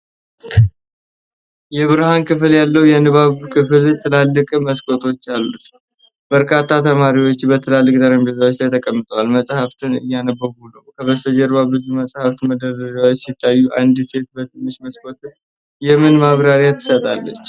የብርሃን ክፍል ያለው የንባብ ክፍል ትላልቅ መስኮቶች አሉት። በርካታ ተማሪዎች በትላልቅ ጠረጴዛዎች ላይ ተቀምጠው መጻሕፍትን እያነበቡ ነው። ከበስተጀርባ ብዙ መጻሕፍት መደርደሪያዎች ሲታዩ፣ አንዲት ሴት በትንሽ መስኮት የምን ማብራሪያ ትሰጣለች?